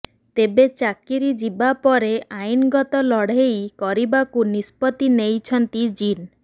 ତେବେ ଚାକିରି ଯିବା ପରେ ଆଇନଗତ ଲଢେଇ କରିବାକୁ ନିଷ୍ପତି ନେଇଚନ୍ତି ଜିନ୍